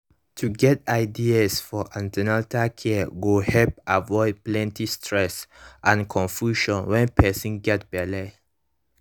to get ideas for an ten atal care go help avoid plenty stress and confusion when person get belle